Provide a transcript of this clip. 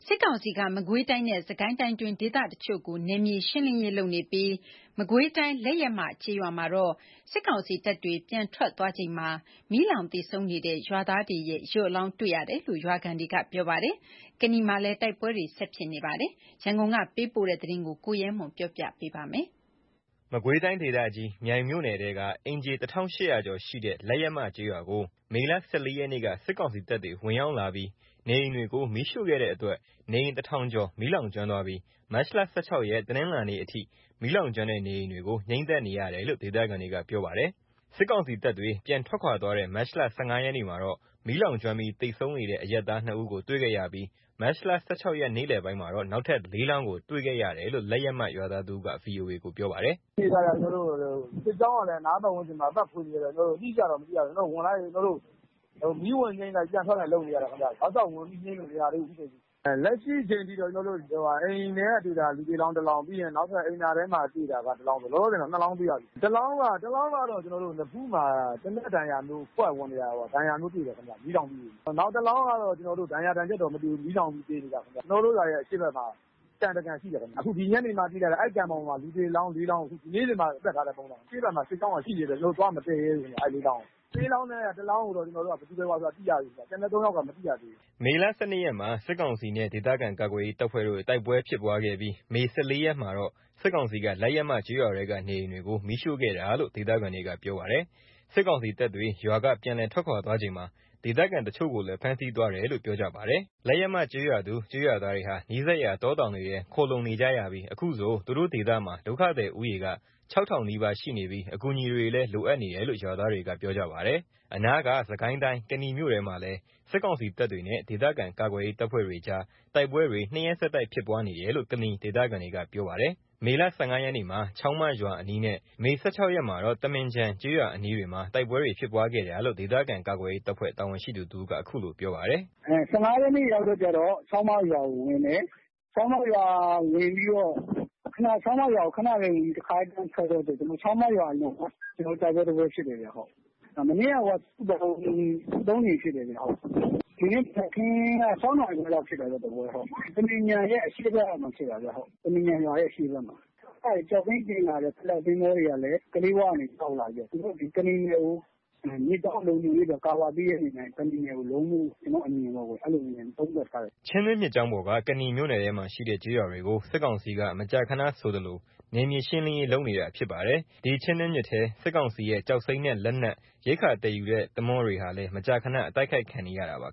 စစ်ကောင်စီက မကွေးတိုင်းနဲ့ စစ်ကိုင်းတိုင်းတွေက တချို့နေရာတွေမှာ နယ်မြေရှင်းလင်းရေး တွေ လုပ်နေပြီး မကွေးတိုင်း လက်ယက်မ ကျေးရွာ မှာတော့ စစ်ကောင်စီတပ်တွေ ပြန်ထွက်ခွါသွားချိန်မှာ မီးလောင်သေဆုံးနေတဲ့ ရွာသားတွေရဲ့ ရုပ်အလောင်းတွေ တွေ့ရတယ်လို့ ရွာခံတွေက ပြောပါတယ်။ စစ်ကိုင်းတိုင်းထဲက ကနီမြို့နယ်မှာတော့ တိုက်ပွဲတွေဆက်ပြီး ဖြစ်ပွါးနေပါတယ်။ ရန်ကုန်က ပေးပို့တဲ့ သတင်းကို ကိုရဲမွန် ကေ ပြာပြပေးမှာပါ။ မကွေးတိုင်းဒေသကြီး မြိုင်မြို့နယ် ထဲက အိမ်ခြေ ၁၈၀၀ ကျော်ရှိတဲ့ လက်ယက်မ ကျေးရွာကို မေလ ၁၄ ရက်နေ့က စစ်ကောင်စီတပ်တွေ ဝင်ရောက်လာပြီး နေအိမ်တွေကို မီးရှို့ခဲ့တဲ့အတွက် နေအိမ် ၁၀၀၀ ကျော် မီးလောင်ကျွမ်းသွားပြီး မတ်လ ၁၆ ရက် တနင်္လာနေ့အထိ မီးလောင်ကျွမ်းတဲ့ နေအိမ်တွေကို ငြိမ်းသတ်နေရတယ်လို့ ဒေသခံတွေက ပြောပါတယ်။ စစ်ကောင်စီတပ်တွေ ပြန်ထွက်ခွါ သွားတဲ့ မတ်လ ၁၅ ရက်နေ့မှာတော့ မီးလောင်ကျွမ်းပြီးသေဆုံးနေတဲ့ အရပ်သား ၂ ဦးကို တွေ့ခဲ့ရပြီး မတ်လ ၁၆ ရက် နေ့လည်ပိုင်းမှာတော့ နောက်ထပ် ၄ လောင်း ကို တွေ့ခဲ့ရတယ်လို့ လက်ယက်မ ရွာသားတဦးက VOA ကို ပြောပါတယ်။ “လက်ရှိအနေအထားအရ စစ်ကြောင်းက အနားပတ်ဝန်းကျင်မှာရှိနေတဲ့အတွက် မီးလောင်တာ အတိအကျတော့ မသိရသေးဘူး။ မီးဝင်ငြိမ်းလိုက် ပြန်ထွက်လိုက် လုပ်နေရတယ်။ တောက်လျှောက်ဝင်ပြီး ငြိမ်းမရသေးဘူး အခုချိန်ထိ။ လက်ရှိအချိန်ထိ အိမ်ထဲကတွေ့တာ လူသေအလောင်း ၁ လောင်း အိမ်သာထဲမှာတွေ့တာက ၁ လောင်း။ လောလောဆယ် ၂ လောင်းတွေ့ထားတယ်။ ၁ လောင်းက နဖူးမှာ သေနတ်ဒဏ်ရာလိုမျိုး ခွက်ဝင်နေတာ တွေ့ရတယ် မီးလောင်ပြီး။ နောက်တလောင်းက ဒဏ်ရာဒဏ်ချက်တော့မတွေ့ရဘူး။ မီးလောင်ပြီးသေနေတာ။ ကျွန်တော်တို့ရွာရဲ့ အရှေ့ဘက်မှာ ကန်တကန်ရှိတယ်။ ဒီညနေမှသိရတာ အဲ့ကန်ဘောင်ပေါ်မှာ လူသေအလောင်း ၄ လောင်း။ ဒီနေ့တင်မှ သတ်ထားတဲ့ပုံစံ။ အဲ့မှာ စစ်ကြောင်းကရှိနေတော့ ကျွန်တော်တို့ သွားမသယ်ရဲဘူး။ အဲ့ ၄ လောင်းကို။ အဲ့ ၄ လောင်းထဲက ၁ လောင်းကိုတော့ ဘယ်သူဘယ်ဝါဆိုတာသိရပြီ ။ ကျန်တဲ့ ၃ ယောက်က မသိရသေးဘူး။” မေ ၁၂ ရက်မှာ စစ်ကောင်စီနဲ့ ဒေသခံကာကွယ်ရေး တပ်ဖွဲ့တို့ တိုက်ပွဲဖြစ်ပွားခဲ့ပြီး မေ ၁၄ ရက်မှာစစ်ကောင်စီက လက်ယက်မကျေးရွာထဲက နေအိမ်တွေကို မီးရှို့ခဲ့တာလို့ ဒေသခံတွေကပြောပါတယ်။ စစ်ကောင်စီတပ်တွေ ရွာက ပြန်လည်ထွက်ခါွသွားချိန်မှာ ဒေသခံအချို့ကိုလည်း ဖမ်းဆီးသွားတယ်လို့လည်း ပြောပါတယ်။ လက်ယက်မကျေးရွာသူ ကျေးရွာသားတွေဟာ နီးစပ်ရာ တောတောင်တွေထဲ ခိုလှုံနေရပြီး အခုဆို သူတို့ ဒေသမှာ ဒုက္ခသည် ဦးရေက ၆ ထောင်နီးပါးရှိနေပြီး အကူအညီတွေလည်း လိုအပ်နေတယ်လို့ ရွာသားတွေက ပြောပါတယ်။ အနားက စစ်ကိုင်းတိုင်း ကနီမြို့နယ်ထဲမှာလည်း စစ်ကောင်စီတပ်တွေနဲ့ ဒေသခံကာကွယ်ရေးတပ်ဖွဲ့တွေကြား တိုက်ပွဲတွေ ၂ ရက်ဆက်တိုက် ဖြစ်ပွါးနေတယ်လို့ ကနီဒေသခံတွေက ပြောပါတယ်။ မေလ ၁၅ ရက်မှာ ချောင်းမရွာအနီးနဲ့ မေ ၁၆ ရက်မှာတော့ သမင်ခြံကျေးရွာအနီးတွေမှာ တိုက်ပွဲတွေဖြစ်ပွားခဲ့တာလို့ ဒေသခံကာကွယ်ရေး တပ်ဖွဲ့တာဝန်ရှိသူ တဦးက အခုလိုပြောပါတယ်။ “၁၅ ရက်နေ့မှာ ချောင်းမရွာကိုဝင်တယ်။ ချောင်းမရွာကို ခဏပဲဝင်ပြီး တခါတည်းပြန်ထွက်တော့ ချောင်းမရွာအလွန်မှာ တိုက်ပွဲတပွဲဖြစ်တယ်။ မနေ့က စုစုပေါင်း ၃ ကြိမ်ဖြစ်တယ်။ ဒီနေ့မနက်ခင်း ၆ နာရီခွဲလောက် တပွဲဖြစ်တယ်။ သမင်ခြံရဲ့အရှေ့ဘက်မှာ သမင်ခြံရွာရဲ့ အရှေ့ဘက်မှာဖြစ်တာ။ ကျောက်စိမ်းတင်လာတဲ့ Flat သင်္ဘောတွေကလည်း ကလေးဝဘက်ကနေ ဆင်းလာပြီ။ ကနီနယ်ကို မြစ်ကြောင်းလုံခြုံရေးအတွက် ကာဗာပေးတဲ့အနေနဲ့ ကနီနယ်ကို လုံးဖို့လို့ ကျွန်တော်တို့အနေနဲ့ သုံးသပ်ထားတယ်။” ချင်းတွင်းမြစ်ကြောင်းပေါ်က ကနီမြို့နယ်ထဲမှာရှိတဲ့ ကျေးရွာတွေကို စစ်ကောင်စီက မကြာခဏဆိုသလို နယ်မြေရှင်းလင်းရေး လုပ်နေတာ ဖြစ်ပါတယ်။ ဒီချင်းတွင်းမြစ်ထဲ စစ်ကောင်စီရဲ့ ကျောက်စိမ်းနဲ့ လက်နက် ၊ ရိက္ခာသယ်ယူတဲ့ သင်္ဘောတွေဟာလည်း မကြာမကြာ အတိုက်ခိုက်ခံရတာပါ။